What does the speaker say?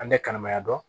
An tɛ kalimaya dɔn